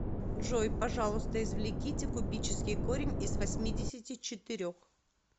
джой пожалуйста извлеките кубический корень из восьмидесяти четырех